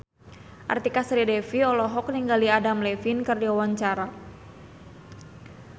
Artika Sari Devi olohok ningali Adam Levine keur diwawancara